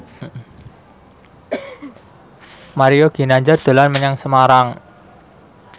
Mario Ginanjar dolan menyang Semarang